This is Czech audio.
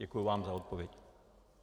Děkuji vám za odpověď.